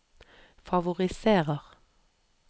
favoriserer